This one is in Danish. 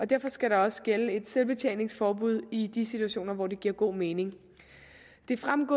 derfor skal der også gælde et selvbetjeningsforbud i de situationer hvor det giver god mening det fremgik